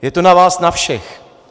Je to na vás na všech.